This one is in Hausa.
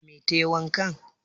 Dame tayi wankan?